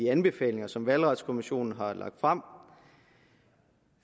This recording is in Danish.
anbefalinger som valgretskommissionen har lagt frem